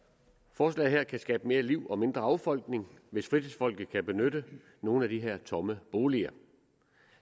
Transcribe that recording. forslaget her kan skabe mere liv og mindre affolkning hvis fritidsfolket kan benytte nogle af de her tomme boliger